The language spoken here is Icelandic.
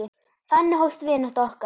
Þannig hófst vinátta okkar.